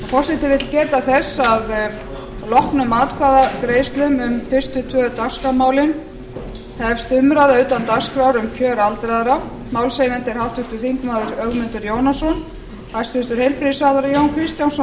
forseti vill geta þess að að loknum atkvæðagreiðslum um fyrstu tvö dagskrármálin hefst umræða utan dagskrár um kjör aldraðra málshefjandi er háttvirtur þingmaður ögmundur jónasson hæstvirtur heilbrigðisráðherra jón kristjánsson